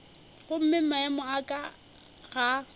gomme maemo a ka ga